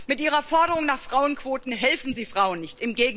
Mit Ihrer Forderung nach Frauenquoten helfen Sie Frauen nicht.